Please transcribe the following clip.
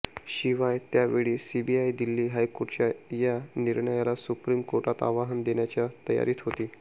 शिवाय त्यावेळी सीबीआय दिल्ली हायकोर्टाच्या या निर्णयाला सुप्रीम कोर्टात आव्हान देण्याच्या तयारीत होती